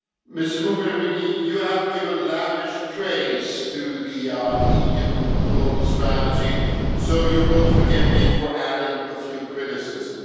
Ms Mogherini, you have given lavish praise to the EU Global Strategy so you will forgive me for adding a few criticisms.